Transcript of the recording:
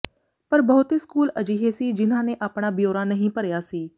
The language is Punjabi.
ਪਰ ਬਹੁਤੇ ਸਕੂਲ ਅਜਿਹੇ ਸੀ ਜਿਨ੍ਹਾਂ ਨੇ ਆਪਣਾ ਬਿਓਰਾ ਨਹੀਂ ਭਰਿਆ ਸੀ